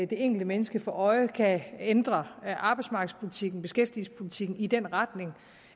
det enkelte menneske for øje kan ændre arbejdsmarkedspolitikken beskæftigelsespolitikken i den retning